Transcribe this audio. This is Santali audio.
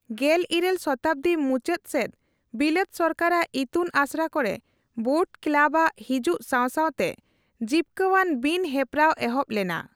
ᱜᱮᱞᱤᱨᱟᱹᱞ ᱥᱚᱛᱟᱵᱫᱤ ᱢᱩᱪᱟᱹᱫ ᱥᱮᱫ ᱵᱤᱞᱟᱹᱛ ᱥᱚᱨᱠᱟᱨᱟᱜ ᱤᱛᱩᱱ ᱟᱥᱲᱟ ᱠᱚᱨᱮ 'ᱵᱳᱰ ᱠᱮᱞᱟᱵᱽ'ᱼᱟᱜ ᱦᱤᱡᱩᱜ ᱥᱟᱣ ᱥᱟᱣᱛᱮ ᱡᱤᱯᱠᱟᱣᱟᱱ ᱵᱤᱱ ᱦᱮᱯᱨᱟᱣ ᱮᱦᱚᱵ ᱞᱮᱱᱟ ᱾